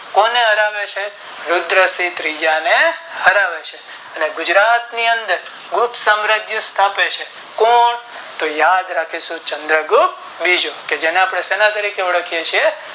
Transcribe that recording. કોને હરાવે છે રુદ્ર સિંહ ત્રીજા ને હરાવે છે અને ગુજરાત ની અંદર ગુપ્ત સામ્રારાજ્ય સ્થાપે છે કોણ તો યાદ રાખીશું ચંદ્ર ગુપ્ત બીજો જેને આપણે શેના તારીખે ઓળખીએછીએ